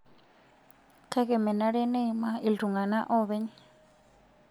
Kake menare neimaa iltung'ana oopeny.